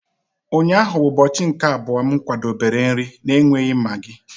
Ụnyaahụ bụ ụbọchị nke abụọ m kwadebere nri na-enweghị maggi.